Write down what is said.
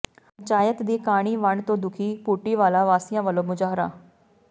ਪੰਚਾਇਤ ਦੀ ਕਾਣੀ ਵੰਡ ਤੋਂ ਦੁਖੀ ਭੁੱਟੀਵਾਲਾ ਵਾਸੀਆਂ ਵੱਲੋਂ ਮੁਜ਼ਾਹਰਾ